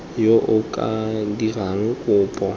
yo o ka dirang kopo